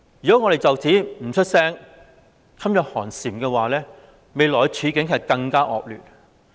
如果我們不就此作聲，噤若寒蟬，未來的處境便會更惡劣。